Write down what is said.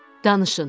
Danışın.